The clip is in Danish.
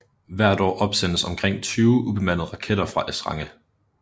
Hvert år opsendes omkring 20 ubemandede raketter fra Esrange